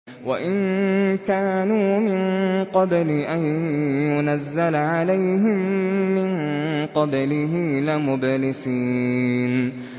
وَإِن كَانُوا مِن قَبْلِ أَن يُنَزَّلَ عَلَيْهِم مِّن قَبْلِهِ لَمُبْلِسِينَ